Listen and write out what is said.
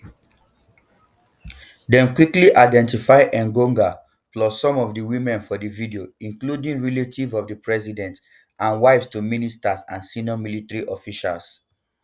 dem um quickly identify engonga plus some of di women for di videos including relatives of di president and wives to ministers and senior military officials